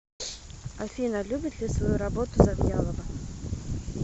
афина любит ли свою работу завьялова